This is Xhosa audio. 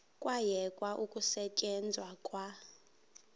kwayekwa ukusetyenzwa kwa